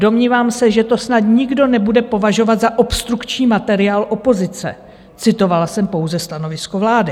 Domnívám se, že to snad nikdo nebude považovat za obstrukční materiál opozice, citovala jsem pouze stanovisko vlády.